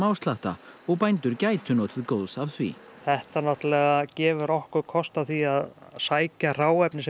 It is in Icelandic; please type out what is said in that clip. smáslatta og bændur gætu notið góðs af því þetta náttúrulega gefur okkur kost á því að sækja hráefni sem